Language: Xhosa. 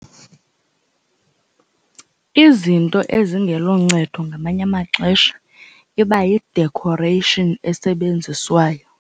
Izinto ezingeloncedo ngamanye amaxesha iba yi-decoration esebenziswayo.